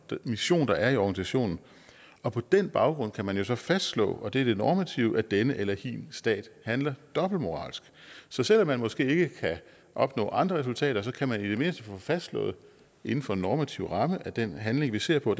den mission der er i organisationen og på den baggrund kan man jo så fastslå og det er det normative at denne eller hin stat handler dobbeltmoralsk så selv om man måske ikke kan opnå andre resultater kan man i det mindste få fastslået inden for en normativ ramme at den handling vi ser på